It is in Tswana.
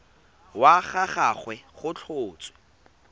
wa ga gagwe go tlhotswe